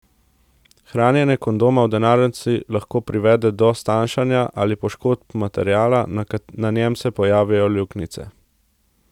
Hranjenje kondoma v denarnici lahko privede do stanjšanja ali poškodb materiala, na njem se pojavijo luknjice.